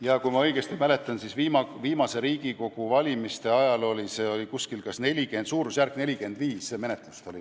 Jaa, kui ma õigesti mäletan, siis viimaste Riigikogu valimiste ajal oli neil alustatud umbes 45 menetlust.